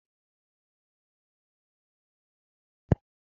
N'oge ochie, ịgba akwụna bụ ihe arụ